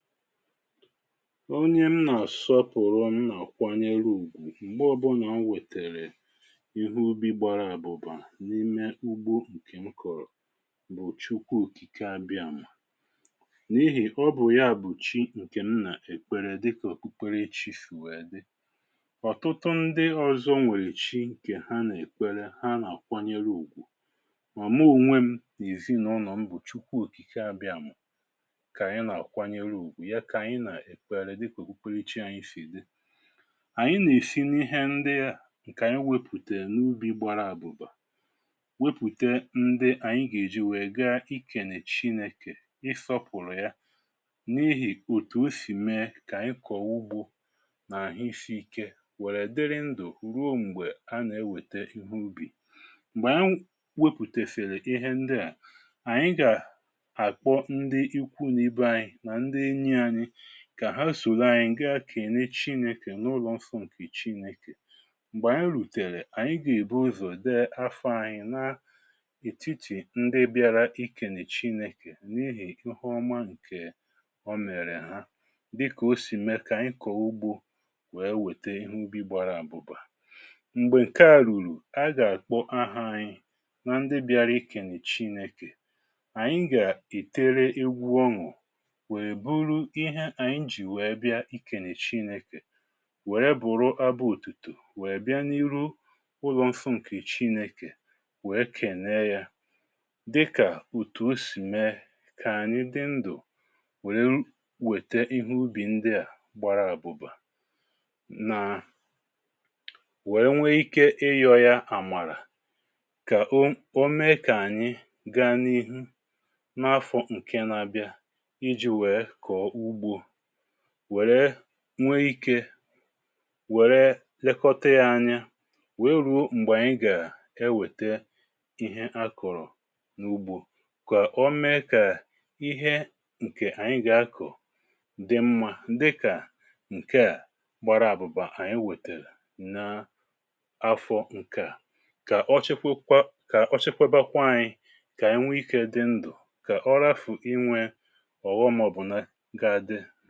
Ọnye m nà-àsọpụ̀rụ m nà-àkwanyere ùgwù m̀gbe ọbụnà o wètèrè ihe ubi gbara àbụbà n’ime ugbo ǹkè m kọ̀rọ̀ bụ̀ chukwa òkìke abịàmà, n’ihì ọbụ̀ ya bụ̀ chi ǹkè m nà-èkpere dị kà òkpukpere ichi sìwèe dị. ọ̀tụtụ ndị ọ̀zọ nwèrè chi ǹkè ha nà-èkpere, ha nà-àkwanyere ùgwù, mọ̀mụ ònwe m n’ìzinụ̇ nọ̀ m bụ̀ chukwa òkìke abịàmà ka anyị na akwanerụ ụgwụ, yà kà ànyị nà-èkparịrị dikwà ukwuu kwechì ànyị sì di. ànyị nà-èfina ihe ndị à ǹkè ànyị wepùtè n’ubì gbara àbụ̀bà wepùtè ndị ànyị gà-èji wèe ga ịkè nà-èchi n’ekè, ịsọ̇pụ̀rụ̀ ya, n’ihì òtù o sì mee kà ànyị kọ̀ọwụgbu nà àhịsiike wèrè dịrị ndụ̀ ruo m̀gbè anà-ewète ihe ubì. m̀gbè a wepùtèfere ihe ndị à ànyị gà àkpọ ndị ikwu na ibe anyị, na nfị enyị anyị, kà ha sòlo anyi ǹge akène chinėkè, n’ụlọ̀ mfu ǹkè chinėkè. m̀gbè anyị rùtèrè ànyị gà-èbu ụzọ̀ dị afọ anyi n’ètitì ndị bịara ikè nà ì chinėkè, n’ihì ihe ọma ǹkè ọmèrè ha. dịkà o sì me kà ànyị kọ̀ọ ugbȯ wee wète ihe ubi gbara àbụbà. m̀gbè ǹke à rùrù, a gà-àkpọ aha anyi nà ndị bịara ikè nà ì chinėkè, ànyị gà-ìtere iwu ọṅụ̀, ma bụrụ ihe ànyị ji wèe bịa ikènèchi n’ikè, wère bụ̀rụ abụ ùtùtù wèe bịa n’ihu ụlọ̀ṅfụ ǹkèchi n’ikè, wèe kènèe ya, dịkà ùtù o sì mee kà ànyị di ndụ̀ wère wète ihe ubì ndị à gbara àbụbà, nà wèe nwee ike ịyọ̇ ya àmàrà, kà o o mee kà ànyị gaa n’ihu n’afọ̀ ǹke na-abịa, ịjị wèè kọọ ụgbọ, wèè nwe ikė wèrè lekọta ya anya weru̇ m̀gbè ànyị gà-ewète ihe akụ̀rụ̀ n’ugbȯ. kà o mee kà ihe ǹkè ànyị gà-akụ̀ dị mmȧ dịkà ǹke à gbara àbụ̀bà ànyị wètèrè n’ afọ̇ ǹkeà, kà ọ chekwebakwa anyị kà ànyị nwe ikė dị ndụ̀ kà ọ rafù inwė ọghọm ga àdịị.